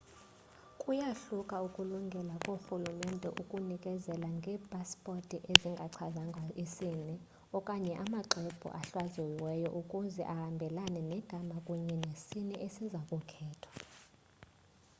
kuyahluka ukulungela koorhulumente ukunikezela ngeepasipothi ezingachazwanga isini x okanye amaxwebhu ahlaziyiweyo ukuze ahambelane negama kunye nesini esiza kukhethwa